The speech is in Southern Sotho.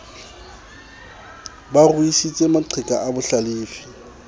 ba ruisitse maqheka a bohlalefi